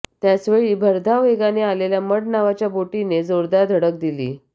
त्याचवेळी भरधाव वेगात आलेल्या मढ नावाच्या बोटीने जोरदार धडक दिली